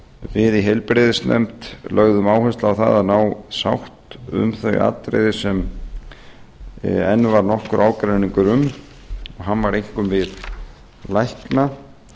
við í heilbrigðisnefnd lögðum áherslu á það að ná sátt um þau atriði sem enn varð nokkur ágreiningur um hann varð einkum við lækna